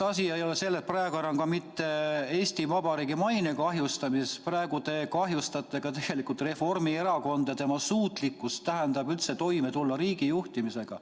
Asi ei ole praegu enam mitte Eesti Vabariigi maine kahjustamises, praegu te kahjustate tegelikult ka Reformierakonda, tema suutlikkust üldse toime tulla riigi juhtimisega.